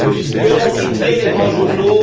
Que vont titrer les grands journaux?